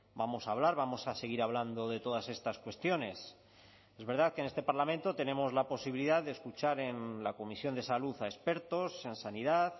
vamos a hablar vamos a seguir hablando de todas estas cuestiones es verdad que en este parlamento tenemos la posibilidad de escuchar en la comisión de salud a expertos en sanidad